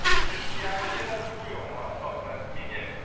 Chrześcijanie nie zasługują na osobne wymienienie.